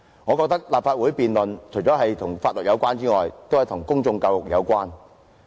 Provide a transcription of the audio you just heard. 我認為立法會的辯論除了關乎法律外，亦關乎公眾教育。